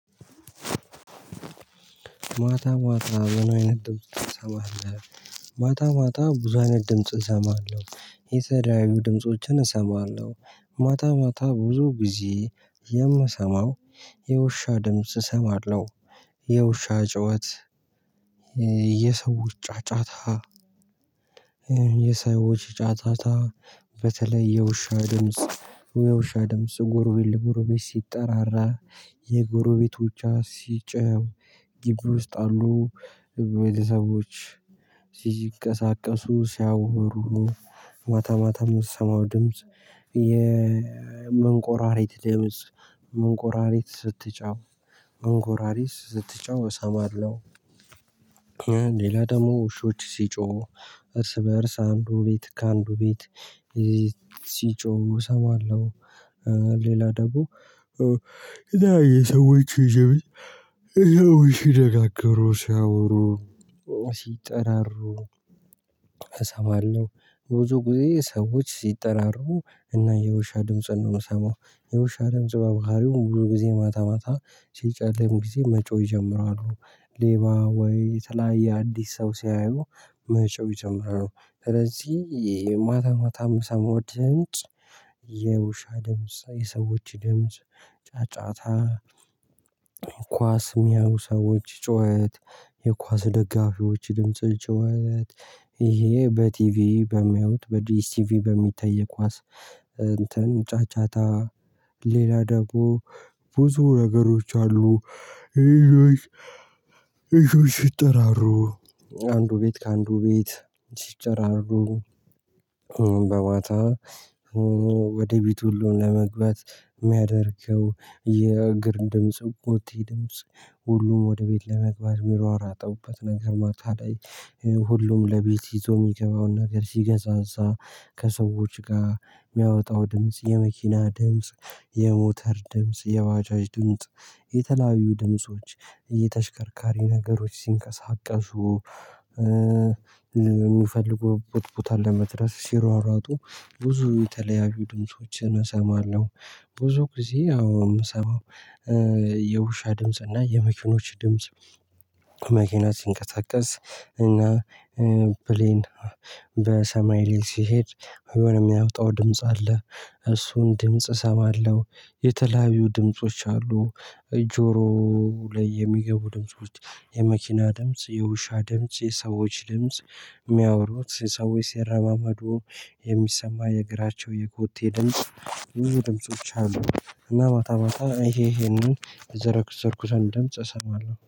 ማታ ማታ ምን አይነት ድምጽ ትሰማለሁ። ማታ ማታ ቡዙ አይነት ድምጽ እሰማለሁ የተለዩ ድምፆችን እሰማለሁ። ማታ ማታ ብዙ ጊዜ የምሰማው የውሻ ድምጽ እሰማለሁ። የውሻ ጩኸት። የሰዎች ጫጫታ። የሰዎች ጫጫታ በተለይ የውሻ ድምጽ። የውሻ ድምጽ ጎሮቤት ለጎሮቤት ሲጠራራ የጎሮቤቶቿ ሲጨው ግቢ ውስጥ አሉ። ቤተሰቦች ሲቀሳቀሱ ሲያወሩ። ማታ ማታ የምትሰማው ድምጽ የመንቆራሪት ድምጽ መንኮራሪት ስትጫው መንኮራሪት ስትጫው እሰማለሁ። ሌላ ደግሞ ውሾች ሲጮሁ እርስ በእርስ አንዱ ቤት ከአንዱ ቤት ሲጮሁ እሰማለሁ። ሌላ ደግሞ እና የሰዎች ድምጽ ሲነጋገሩ ሲያወሩ ሲጠራሩ አሰማለው። ብዙ ጊዜ ሰዎች ሲጠራሩ እና የውሻ ድምጽን ነው የምሰማው። የውሻ ድምጽ በባህሪው ብዙ ጊዜ ማታ ማታ ሲጨለም ጊዜ መጮህ ይጀምራሉ ሌባ ወይ የተለያየ አዲስ ሰው ሲያዩ መጮህ ይጀምራሉ። ስለዚህ ማታ ማታ ሰሞን ድምጽ የውሻ ድምጽ የሰዎች ድምጽ ጫጫታ። ኳስ የሚያዩ ሰዎች ጩኸት የኳስ ደጋፊዎች ድምጽ ጩኸት። ይሄ በቲቪ በሚያዩት በዲስቲቪ በሚታይ ኳስ። እንትን ጫጫታ። ሌላ ደግሞ ብዙ ነገሮች አሉ። ልጆች ልጆች ሲጠራሩ አንዱ ቤት ከአንዱ ቤት ሲጨራሩ በማታ ወደ ቤት ሁሉም ለመግባት የሚያደርገው የእግር ድምጽ ኮቴ ድምጽ። ሁሉም ወደ ቤት ለመግባት የሚሯሯጠውበት ነገር ማታ ላይ ሁሉም ለቤት ይዞ የሚገባውን ነገር ሲገዛዛ ከሰዎች ጋር የሚያወጣው ድምጽ የመኪና ድምጽ የሞተር ድምጽ የባጃጅ ድምጽ የተላዩ ነገሮች ድምጾች እየተሽከርካሪ ነገሮች ሲንቀሳቀሱ። የሚፈልጉበት ቦታ ለመድረስ ሲሯሯጡ ብዙ የተለያዩ ድምፆችን እሰማለሁ። ብዙ ጊዜ አዎ የምሰማው የውሻ ድምጽ እና የመኪኖች ድምጽ። መኪና ሲንቀሳቀስ እና ብሌን በሰማይ ላይ ሲሄድ የሆነ የሚያወጣው ድምጽ አለ። እሱን ድምጽ እሰማለሁ። የተለያዩ ድምጾች አሉ። ጆሮ ላይ የሚገቡ ድምጾች የመኪና ድምጽ የውሻ ድምጽ የሰዎች ድምጽ። የሚያወሩት ሰዎች ሲረማመዱ የሚሰማ የእግራቸው የኮቴ ድምጽ። ድምጾች አሉ እና ማታ ማታ ይሄ ይሄንን የዘረዘርኩትን ድምጽ እሰማለሁ